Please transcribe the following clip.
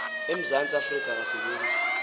emzantsi afrika akasebenzi